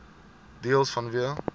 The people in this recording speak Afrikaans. deels vanweë